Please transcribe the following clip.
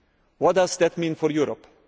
What does that mean for Europe?